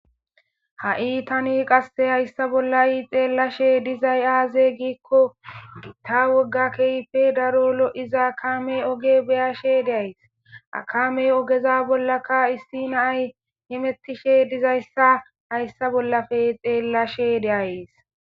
Hayi tani hayi hayissa bolla xelashe dizayi aze gikko gitta wogga darrope loza kame beyashe dayisi ha kameza ogge bollaka issi na'ayi hemetishe dizayisa hayissa bollape xelashe deyayisi